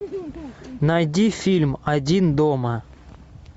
найди фильм один дома